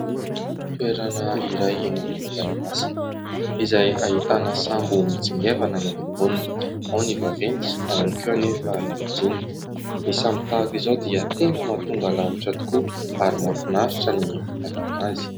Toerana iray eny amoron-dranomasina izay ahitana sambo mitsingevana eny amboniny. Ao ny vaventy, ao ihany koa anefa ny majinika ; ny sambo tahaka izao dia tena mahatonga lavitra tokoa ary mahafinaritra ny mitaingina azy.